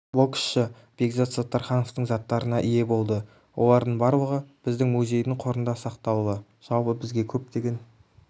боксшы бекзат саттархановтың заттарына ие болды олардың барлығы біздің музейдің қорында сақтаулы жалпы бізге көптеген